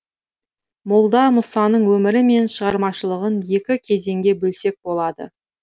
молда мұсаның өмірі мен шығармашылығын екі кезеңге бөлсек болады